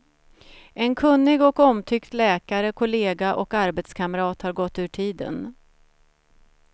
En kunnig och omtyckt läkare, kollega och arbetskamrat har gått ur tiden.